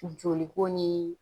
Joli ko ni